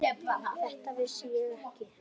Þetta vissi ég ekki.